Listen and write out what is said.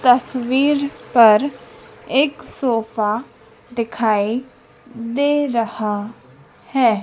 तस्वीर पर एक सोफा दिखाई दे रहा है।